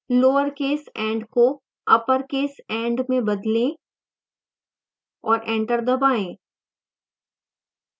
lowercase end को uppercase end में बदलें